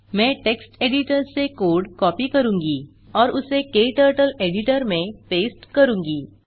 मैं text editor से code copy करूँगी और उसे क्टर्टल एडिटर में पेस्ट करूँगी